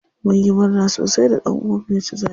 Munyi murna sosi da ɗan uwan mu ya ci zaɓe.